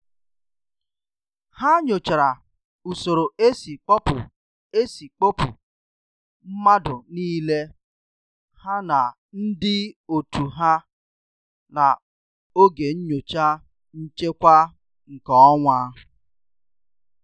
ha nyochara usoro esi kpopụ esi kpopụ madu nile ha na ndi otu ha na oge nyocha nchekwa nke onwa